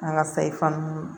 An ka sayi fana